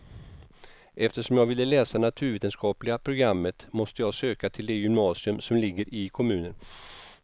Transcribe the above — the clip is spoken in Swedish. Eftersom jag ville läsa naturvetenskapliga programmet måste jag söka till det gymnasium som ligger i kommunen.